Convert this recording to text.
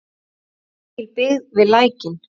Var mikil byggð við Lækinn?